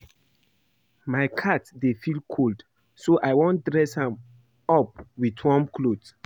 My cat dey feel cold so I wan dress am up with warm cloth